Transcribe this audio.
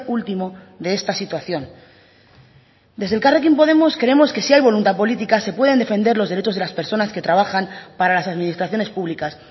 último de esta situación desde elkarrekin podemos creemos que si hay voluntad política se pueden defender los derechos de las personas que trabajan para las administraciones públicas